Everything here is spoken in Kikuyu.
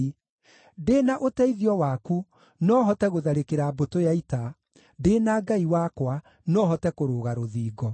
Ndĩ na ũteithio waku no hote gũtharĩkĩra mbũtũ ya ita; ndĩ na Ngai wakwa no hote kũrũga rũthingo.